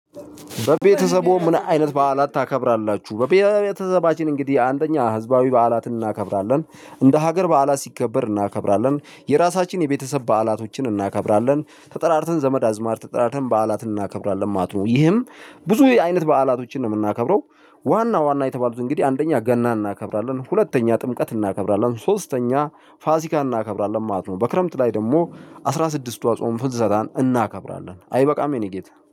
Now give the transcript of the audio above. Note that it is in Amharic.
በቤተሰቡ ምን? አይነት በዓላት ታከብራላችሁ በቤተሰባችን እንግዲህ አንደኛ ህዝባዊ በዓላትን እናከብራለን። እንደ ሀገር በዓላት ሲከበር እናከብራለን የራሳችን የቤተሰብ በዓላቶችን እናከብራለን ተጠራርተን ዘመድ አዝማድ ተጠራርተን በዓላት እናከብራለን ማለት ነው። ይህም ብዙ አይነት በዓላቶችን ነው ምናከብረው። ዋና ዋና የተባሉት እንግዲህ አንደኛ ገና እናከብራለን ሁለተኛ ጥምቀት እናከብራለን ሶስተኛ ፋሲካ እናከብራለን ማለት ነው። በክረምት ላይ ደግሞ አስራ ስድስቷ ጾም ፍልሰታን እናከብራለን። አይበቃም የኔ ጌታ